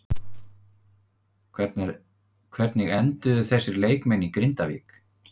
Hvernig enduðu þessir leikmenn í Grindavík?